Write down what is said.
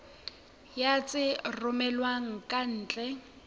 ya tse romellwang ka ntle